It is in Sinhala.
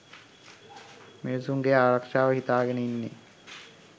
මිනිසුන්ගේ ආරක්ෂාව හිතාගෙන ඉන්නෙ